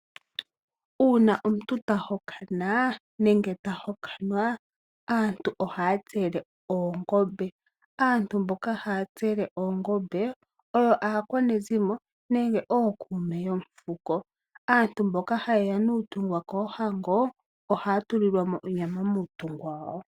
Uuna omuntu ta hokana nenge ta hokanwa aantu ohaa tsele oongombe. Aantu mboka haa tsele oongombe oyo aakwanezimo nenge ookuume yomufuko. Aantu mboka haye ya nuuntungwa koohango ohaya tulilwa mo onyama muuntungwa wawo.